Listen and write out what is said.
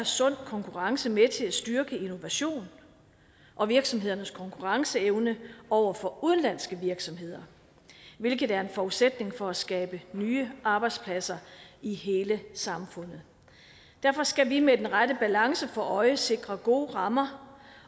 sund konkurrence med til at styrke innovationen og virksomhedernes konkurrenceevne over for udenlandske virksomheder hvilket er en forudsætning for at skabe nye arbejdspladser i hele samfundet derfor skal vi med den rette balance for øje sikre gode rammer